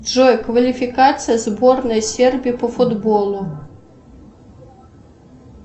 джой квалификация сборной сербии по футболу